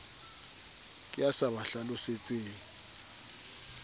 ke ya sa ba hlalosetseng